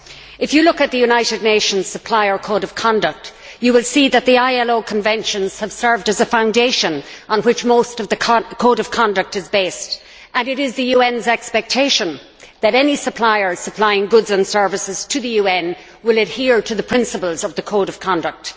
If you look at the United Nations Supplier Code of Conduct, you will see that the ILO conventions have served as a foundation on which most of the Code of Conduct is based, and it is the UN's expectation that any supplier providing goods and services to the UN will adhere to the principles of the Code of Conduct.